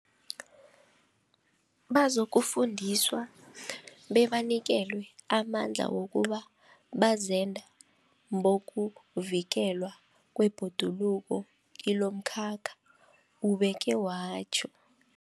Bazokufundiswa bebanikelwe amandla wokuba bazenda bokuvikelwa kwebhoduluko kilomkhakha, ubeke watjho.